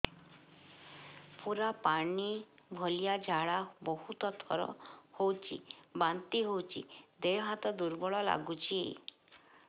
ପୁରା ପାଣି ଭଳିଆ ଝାଡା ବହୁତ ଥର ହଉଛି ବାନ୍ତି ହଉଚି ଦେହ ହାତ ଦୁର୍ବଳ ଲାଗୁଚି